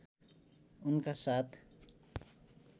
उनका साथ